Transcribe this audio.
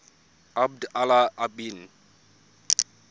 abd allah ibn